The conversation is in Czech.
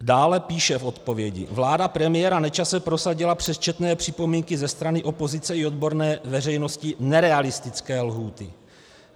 Dále píše v odpovědi: "Vláda premiéra Nečase prosadila přes četné připomínky ze strany opozice i odborné veřejnosti nerealistické lhůty.